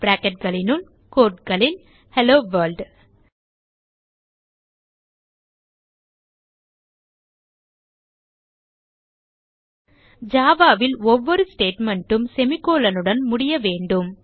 bracketகளினுள் quote களில் hello world java ல் ஒவ்வொரு statement உம் semicolon உடன் முடிய வேண்டும்